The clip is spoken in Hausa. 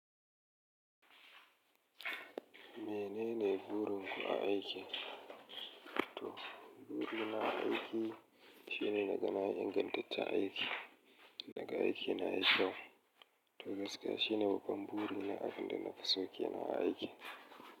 Menene burin ku a aiki? To, burina a aiki shine naga na ingantaccen aiki, naga aiki na yi kyau. To gaskiya shine babban buri na abin da na fi so kenan a aiki.